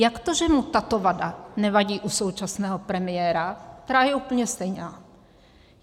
Jak to, že mu tato vada nevadí u současného premiéra, která je úplně stejná?